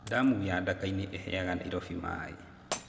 Ndamu ya Ndakainĩ ĩheaga Nairobi maĩ.